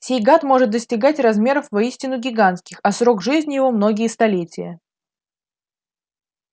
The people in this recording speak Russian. сей гад может достигать размеров воистину гигантских а срок жизни его многие столетия